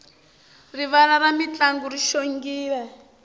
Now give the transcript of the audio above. rivala ra mintlangu ri xongile